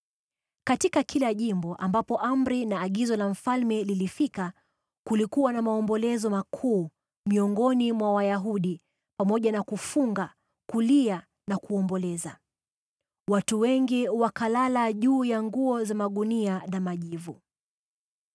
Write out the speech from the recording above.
Katika kila jimbo ambapo amri na agizo la mfalme lilifika, kulikuwa na maombolezo makuu miongoni mwa Wayahudi pamoja na kufunga, kulia na kuomboleza. Watu wengi wakalala juu ya nguo za magunia na majivu.